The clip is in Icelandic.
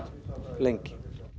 lengi